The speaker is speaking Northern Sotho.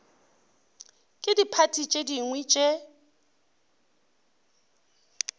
ke diphathi tše dingwe tše